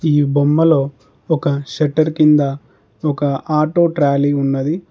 ఈ బొమ్మలో ఒక షట్టర్ కింద ఒక ఆటో ట్రాలీ ఉన్నది.